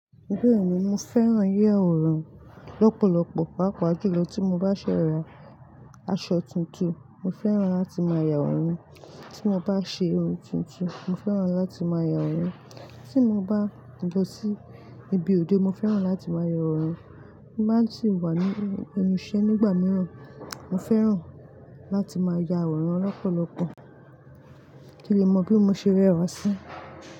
Bẹ́ẹ̀ni mo fẹ́ràn yá ọ̀rùn lọ́pọ̀lọpọ̀ pàápàá jùlọ tí mo bá ṣẹ̀rà aṣọ tuntun mo fẹ́ràn láti máa ya ọ̀rùn, tí mo bá ṣe irun tuntun mo fẹ́ràn láti máa ya ọ̀rùn, tí mo bá ń bọ sí ibi òde mo fẹ́ràn láti máa ya ọ̀rùn, mo máa sì wà ní ibi iṣẹ́ nígbà mìíràn mo fẹ́ràn láti máa ya ọ̀rùn lọ́pọ̀lọpọ̀, kí n lè mọ bí mo ṣe rẹwà sí.